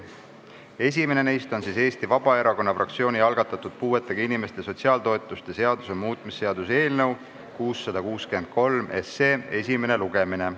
Esimene neist on Eesti Vabaerakonna fraktsiooni algatatud puuetega inimeste sotsiaaltoetuste seaduse muutmise seaduse eelnõu 663 esimene lugemine.